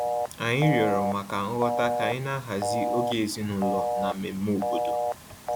Anyị rịọrọ maka nghọta ka anyị na-ahazi oge ezinụlọ na mmemme obodo